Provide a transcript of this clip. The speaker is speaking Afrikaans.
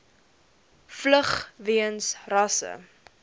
vlug weens rasse